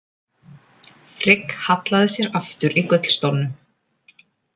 Frigg hallaði sér aftur í gullstólnum.